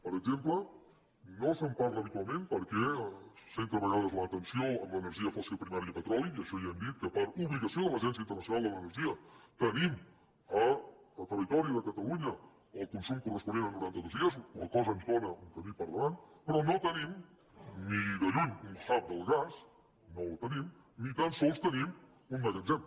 per exemple no se’n parla habitualment perquè es centra a vegades l’atenció en l’energia fòssil primària petroli i això ja hem dit que per obligació de l’agència internacional de l’energia tenim al territori de catalunya el consum corresponent a noranta dos dies la qual cosa ens dóna un camí per davant però no tenim ni de lluny un hub del gas no el tenim ni tan sols tenim un magatzem